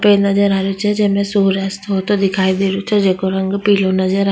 पेड़ नजर आ रो छे जेमे सूर्य अस्थ होता दिखाई दे रो छे जैको रंग पिलो नजर आ --